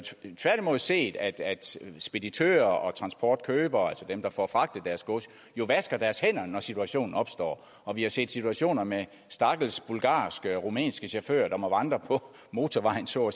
tværtimod set at speditører og transportkøbere altså dem der får fragtet deres gods jo vasker deres hænder når situationen opstår og vi har set situationer med stakkels bulgarske og rumænske chauffører der må vandre på motorvejen så